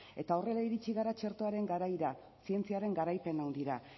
eta horrela iritsi gara txertoaren garaira zientziaren garaipen handira